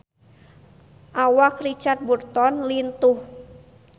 Awak Richard Burton lintuh